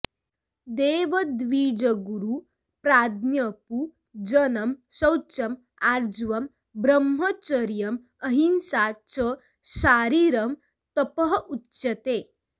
देवद्विजगुरुप्राज्ञपूजनं शौचम् आर्जवम् ब्रह्मचर्यम् अहिंसा च शारीरं तपः उच्यते